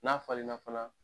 N'a falen na fana